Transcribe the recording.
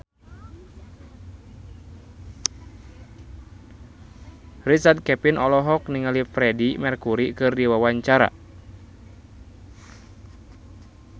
Richard Kevin olohok ningali Freedie Mercury keur diwawancara